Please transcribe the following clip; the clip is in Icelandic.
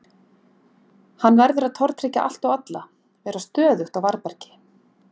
Hann verður að tortryggja allt og alla, vera stöðugt á varðbergi.